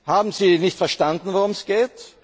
Haben Sie nicht verstanden, worum es geht?